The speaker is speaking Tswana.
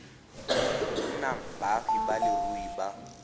nnang baagi ba leruri ba